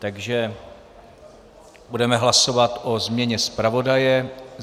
Takže budeme hlasovat o změně zpravodaje.